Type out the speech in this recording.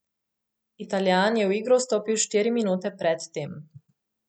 Italijan je v igro vstopil štiri minute pred tem.